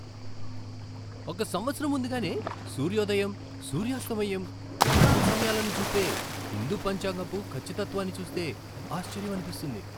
ఒక సంవత్సరం ముందుగానే సూర్యోదయం, సూర్యాస్తమయం, గ్రహణాల సమయాలను చూపే హిందూ పంచాంగపు ఖచ్చితత్వాన్ని చూస్తే ఆశ్చర్యమనిపిస్తుంది.